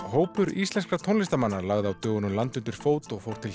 hópur íslenskra tónlistarmanna lagði á dögunum land undir fót og fór til